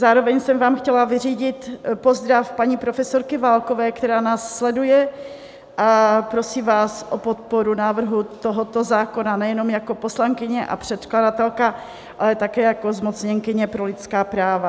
Zároveň jsem vám chtěla vyřídit pozdrav paní profesorky Válkové, která nás sleduje a prosí vás o podporu návrhu tohoto zákona nejenom jako poslankyně a předkladatelka, ale také jako zmocněnkyně pro lidská práva.